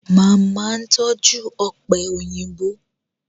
Màmá tọ́jú ọ̀pẹ̀ òyìnbó